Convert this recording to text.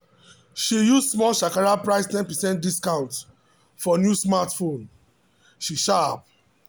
she use small shakara price ten percent discount for new smartphone she sharp!